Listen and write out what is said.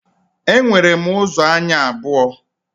E nwere ụzọ anya abụọ